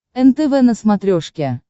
нтв на смотрешке